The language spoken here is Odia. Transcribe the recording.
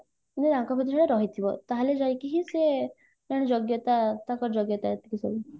ଯାଇ ତାଙ୍କ ଭିତରେ ରହିଥିବ ତାହେଲେ ଯାଇକି ହିଁ ସେ କାରଣ ଯୋଗ୍ୟତା ତାଙ୍କ ଯୋଗ୍ୟତା ଯେତିକି ସବୁ